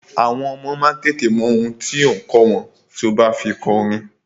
Àwọn ọmọ má a tètè mọ ohun tí ò ǹ kọ́ wọn tí o bá fi kọ orin.